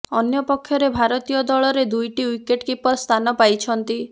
ଅନ୍ୟପକ୍ଷରେ ଭାରତୀୟ ଦଳରେ ଦୁଇଟି ଓ୍ବିକେଟ୍ କିପର ସ୍ଥାନ ପାଇଛନ୍ତି